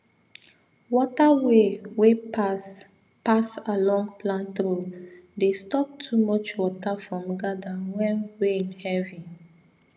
water way wey pass pass along plant row dey stop too much water from gather when rain heavy